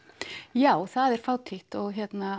já það er fátítt og